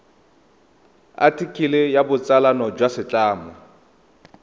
athikele ya botsalano jwa setlamo